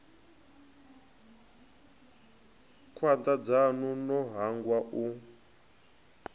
khwanda dzanu no hangwa u